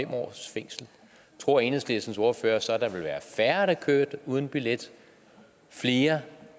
års fængsel tror enhedslistens ordfører så der ville være færre der kørte uden billet flere